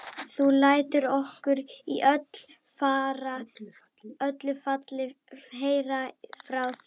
Þú lætur okkur í öllu falli heyra frá þér.